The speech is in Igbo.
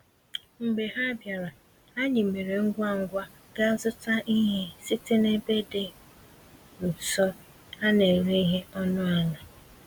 Mgbe ha bịara, anyị mèrè ngwá ngwá gaa zụta ihe site n'ebe dị nso, a néré ihe ọnụ àlà